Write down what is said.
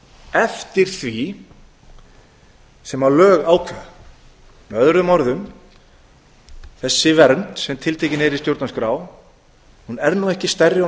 eftir því sem lög ákveða með öðrum orðum þessi vernd sem tiltekin er í stjórnarskrá er nú ekki stærri og